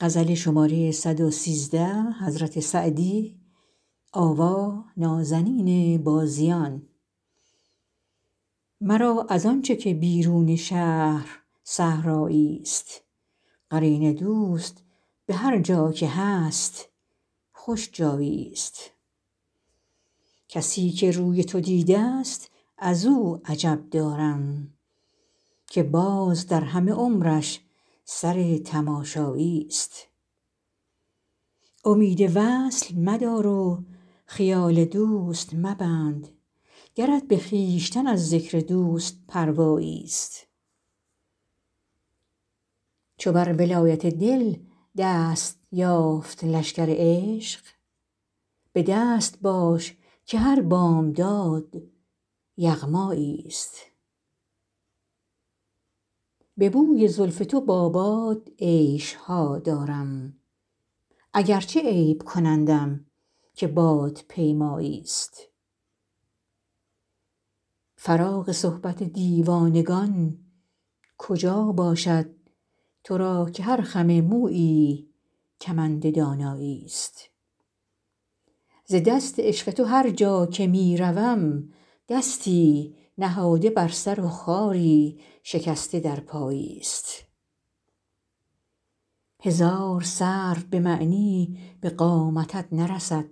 مرا از آن چه که بیرون شهر صحرایی ست قرین دوست به هرجا که هست خوش جایی ست کسی که روی تو دیده ست از او عجب دارم که باز در همه عمرش سر تماشایی ست امید وصل مدار و خیال دوست مبند گرت به خویشتن از ذکر دوست پروایی ست چو بر ولایت دل دست یافت لشکر عشق به دست باش که هر بامداد یغمایی ست به بوی زلف تو با باد عیش ها دارم اگرچه عیب کنندم که بادپیمایی ست فراغ صحبت دیوانگان کجا باشد تو را که هر خم مویی کمند دانایی ست ز دست عشق تو هرجا که می روم دستی نهاده بر سر و خاری شکسته در پایی ست هزار سرو به معنی به قامتت نرسد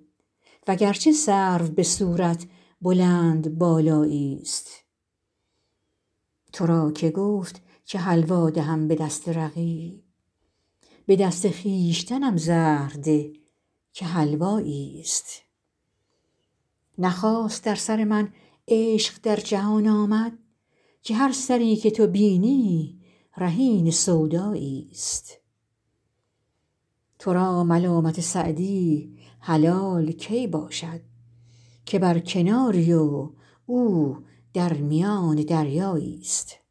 وگرچه سرو به صورت بلندبالایی ست تو را که گفت که حلوا دهم به دست رقیب به دست خویشتنم زهر ده که حلوایی ست نه خاص در سر من عشق در جهان آمد که هر سری که تو بینی رهین سودایی ست تو را ملامت سعدی حلال کی باشد که بر کناری و او در میان دریایی ست